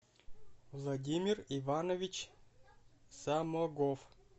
владимир иванович самогов